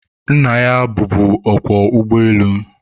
nna ya bụbu ọkwọ ụgbọelu